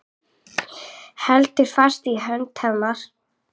Heldur fast í hönd hennar.